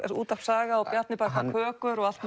er útvarp Saga og Bjarni bakar kökur og allt